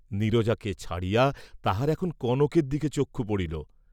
নীরজাকে ছাড়িয়া তাঁহার এখন কনকের দিকে চক্ষু পড়িল।